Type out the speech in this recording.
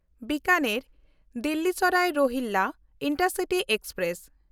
ᱵᱤᱠᱟᱱᱮᱨ–ᱫᱤᱞᱞᱤ Sarai ᱨᱚᱦᱤᱞᱞᱟ intercity express